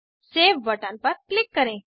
save button पर click करें